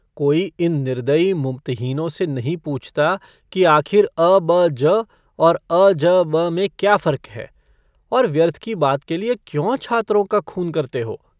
कोई इन निर्दयी मुमतहिनों से नहीं पूछता कि आखिर अ ब ज और अ ज ब में क्या फर्क है और व्यर्थ की बात के लिए क्यों छात्रों का खून करते हो।